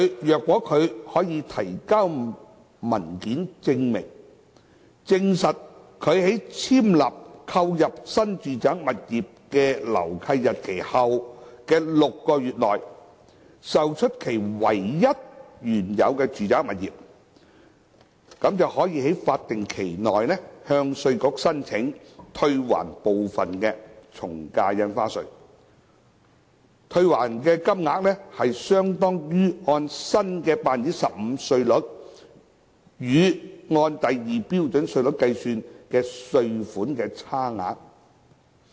如果他可以提交證明文件，證實他在簽立購入新住宅物業的樓契日期後的6個月內，售出其唯一的原有住宅物業，可於法定期內向稅務局申請退還部分從價印花稅，退還的金額相當於按 15% 新稅率與按第2標準稅率計算的稅款差額。